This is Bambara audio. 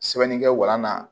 Sɛbɛnnikɛ walan na